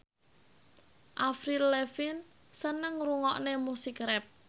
Avril Lavigne seneng ngrungokne musik rap